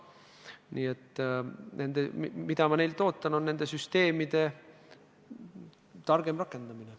Nii et see, mida ma pankadelt ootan, on nende süsteemide targem rakendamine.